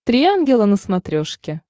три ангела на смотрешке